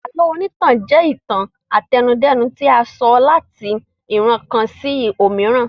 Àlọ́ onítàn jẹ́ ìtàn àtẹnudẹ́nu tí a sọ láti ìran kan sí omiran